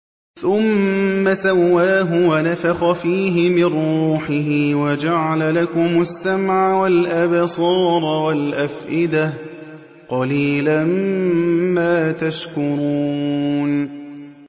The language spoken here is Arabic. ثُمَّ سَوَّاهُ وَنَفَخَ فِيهِ مِن رُّوحِهِ ۖ وَجَعَلَ لَكُمُ السَّمْعَ وَالْأَبْصَارَ وَالْأَفْئِدَةَ ۚ قَلِيلًا مَّا تَشْكُرُونَ